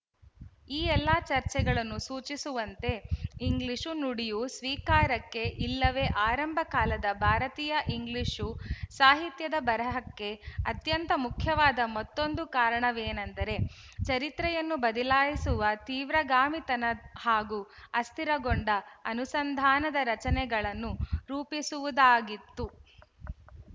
ಈ ಎಲ್ಲ ಚರ್ಚೆಗಳು ಸೂಚಿಸುವಂತೆ ಇಂಗ್ಲಿಶು ನುಡಿಯ ಸ್ವೀಕಾರಕ್ಕೆ ಇಲ್ಲವೇ ಆರಂಭ ಕಾಲದ ಭಾರತೀಯ ಇಂಗ್ಲಿಶು ಸಾಹಿತ್ಯದ ಬರಹಕ್ಕೆ ಅತ್ಯಂತ ಮುಖ್ಯವಾದ ಮತ್ತೊಂದು ಕಾರಣವೇನೆಂದರೆ ಚರಿತ್ರೆಯನ್ನು ಬದಲಾಯಿಸುವ ತೀವ್ರಗಾಮಿತನ ಹಾಗೂ ಅಸ್ಥಿರಗೊಂಡ ಅನುಸಂಧಾನದ ರಚನೆಗಳನ್ನು ರೂಪಿಸುವುದಾಗಿತ್ತು